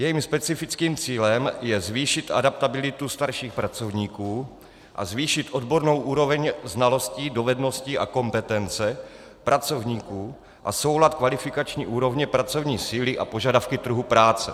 Jejím specifickým cílem je zvýšit adaptabilitu starších pracovníků a zvýšit odbornou úroveň znalostí, dovedností a kompetence pracovníků a soulad kvalifikační úrovně pracovní síly a požadavky trhu práce.